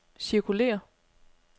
cirkulér